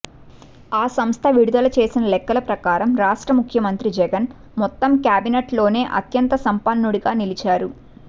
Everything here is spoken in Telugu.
ఆ సంస్థ విడుదల చేసిన లెక్కల ప్రకారం రాష్ట్ర ముఖ్యమంత్రి జగన్ మొత్తం కేబినెట్లోనే అత్యంత సంపన్నుడుగా నిలిచారు